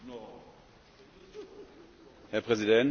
Herr Präsident, liebe Kolleginnen und Kollegen!